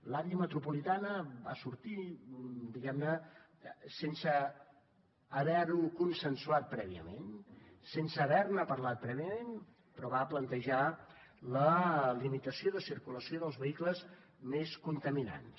l’àrea metropolitana va sortir diguem ne sense haver ho consensuat prèviament sense haver ne parlat prèviament però va plantejar la limitació de circulació dels vehicles més contaminants